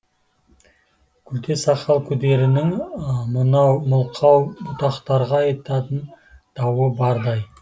күлте сақал күдерінің мынау мылқау бұтақтарға айтатын дауы бардай